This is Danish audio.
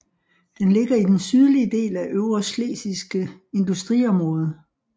Den ligger i den sydlige del af Øvreschlesiske industriområde